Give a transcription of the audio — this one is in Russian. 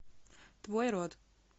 твой род